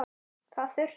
Þar þurfti